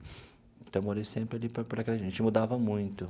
Então, eu morei sempre ali, porque a gente mudava muito.